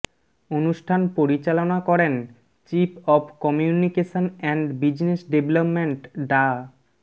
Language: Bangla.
অনুষ্ঠান পরিচালনা করেন chief of communication and business development ডা